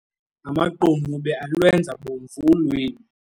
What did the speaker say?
Amaqunube alwenza bomvu ulwimi.